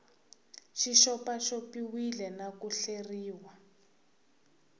xi xopaxopiwile na ku hleriwa